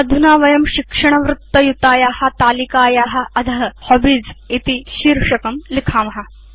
अधुना वयं शिक्षणवृत्तयुताया तालिकाया अध हॉबीज इति शीर्षकं लिखेम